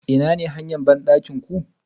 Inane hanya bandakin ku?